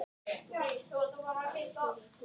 En mér finnst þetta fínt.